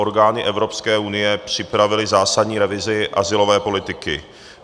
Orgány Evropské unie připravily zásadní revizi azylové politiky.